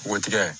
Npogotiginin